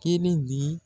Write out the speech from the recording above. Kelen di